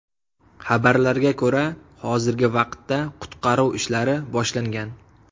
Xabarlarga ko‘ra, hozirgi vaqtda qutqaruv ishlari boshlangan.